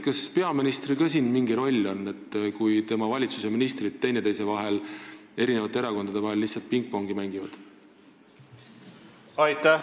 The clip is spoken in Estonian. Kas peaministril on ka selles mingi roll, kui tema valitsuse ministrid omavahel ja eri erakondade vahel lihtsalt pingpongi mängivad?